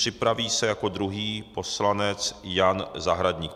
Připraví se jako druhý poslanec Jan Zahradník.